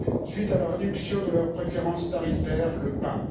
suite à la réduction de leurs préférences tarifaires, le MAB.